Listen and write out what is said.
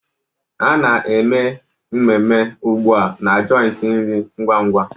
Ana-eme mmeme ugbu a na joiti nri ngwa-ngwa.